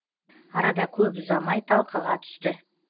арада көп ұзамай талқыға түсті